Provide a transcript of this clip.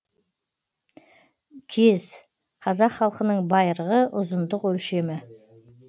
кез қазақ халқының байырғы ұзындық өлшемі